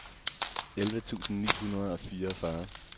elleve tusind ni hundrede og fireogfyrre